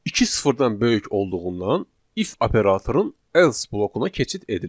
İki sıfırdan böyük olduğundan if operatorunun else blokuna keçid edilir.